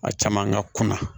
A caman ka kunna